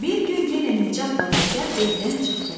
Bir gün yenə Nicatla Dəcəl evdən çıxdılar.